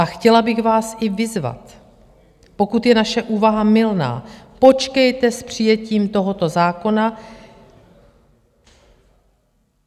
A chtěla bych vás i vyzvat, pokud je naše úvaha mylná, počkejte s přijetím tohoto zákona.